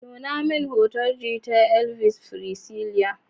Nuna min hotunan gitar Elvis Presley.